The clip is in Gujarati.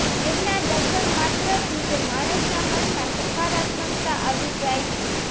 તેમના દર્શન માત્રથી જ માણસના મનમાં સકારાત્મકતા આવી જાય છે